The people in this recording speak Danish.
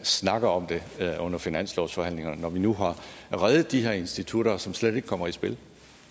snakker om det under finanslovsforhandlingerne når vi nu har reddet de her institutter som slet ikke kommer i spil